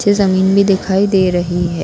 नीचे जमीन भी दिखाई दे रही है।